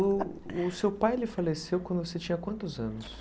O o seu pai ele faleceu quando você tinha quantos anos?